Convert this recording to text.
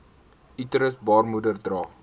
uterus baarmoeder dra